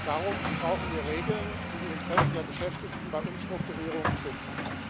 Darum brauchen wir Regeln, die die Interessen der Beschäftigten bei Umstrukturierungen schützen.